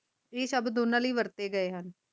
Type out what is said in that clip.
ਇਹ ਸ਼ਬਦ ਓਨਾ ਲਯੀ ਵਰਤੇ ਗਏ ਹਨ